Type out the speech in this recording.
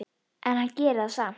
En hann gerir það samt.